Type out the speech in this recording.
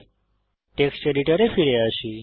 এখন আমাদের টেক্সট এডিটরে ফিরে আসি